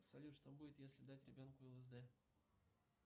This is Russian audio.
салют что будет если дать ребенку лсд